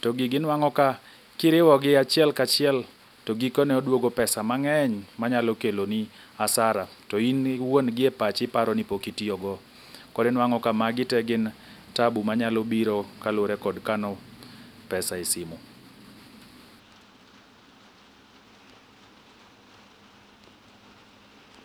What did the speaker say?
To gigi inwang'o ka kiriwogi achiel kachiel to gikone odwogo pesa mang'eny manyalo keloni asara. To in iwuon gi e pachi iparo ni pok itiyogo. Koro inwang'o ka magi te gin tabu manyalo mabiro kaluwore kod kano pesa e simu.